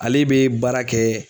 Ale bɛ baara kɛ